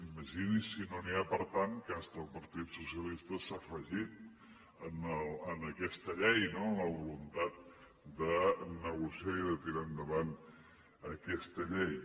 imagini’s si no n’hi ha per tant que fins i tot el partit socialista s’ha afegit a aquesta llei no amb la voluntat de negociar i tirar endavant aquesta llei